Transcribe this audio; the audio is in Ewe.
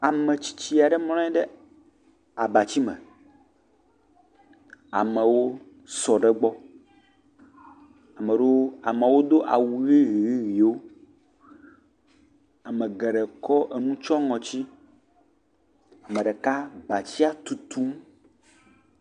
Ametsitsi aɖe mlɔ anyi ɖe abati me, amewo sɔ ɖe gbɔ, ame ɖewo, amewo do awu ʋe ʋe ʋewo, ame geɖe kɔ enu tsyɔ ŋɔti, ame ɖeka abatia tutum.